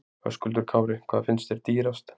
Höskuldur Kári: Hvað finnst þér dýrast?